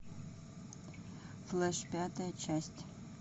флэш пятая часть